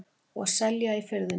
Og selja í Firðinum.